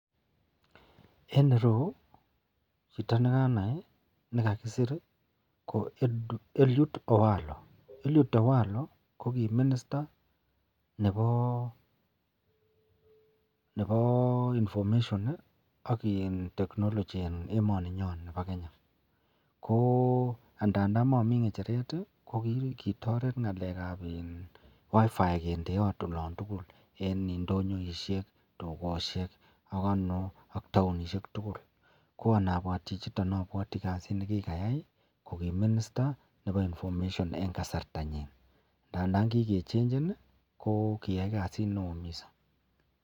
En ireu chito ne kanai ne kakisir ii, ko Eliud Owalo, Eliud Owalo ko ki minister nebo information ii ak in ]technology en emoninyon nebo Kenya, ko andandan mami ngecheret ii, ko kitoret ngalekab in wifi kindeot olon tugul, en indonyoisiek, dukosiek ak ano ak taonisiek tugul. Ko anabwat chichiton abwati kasit ne kikayai koki minister nebo information en kasartanyin, ndandan ki kechenchen ii, ko kiyai kasit nee oo mising.